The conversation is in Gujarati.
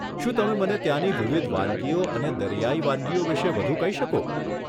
શું તમે મને ત્યાની વિવિધ વાનગીઓ અને દરિયાઈ વાનગીઓ વિશે વધુ કહી શકો?